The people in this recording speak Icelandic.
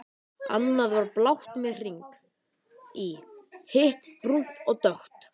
Annað var blátt með hring í, hitt brúnt og dökkt.